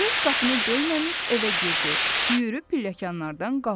Qız qapını döyməmiş evə girdi, yüyürüb pilləkənlərdən qalxdı.